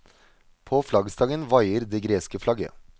På flaggstangen veier det greske flagget.